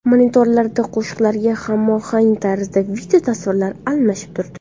Monitorlarda qo‘shiqlarga hamohang tarzda video tasvirlar almashib turdi.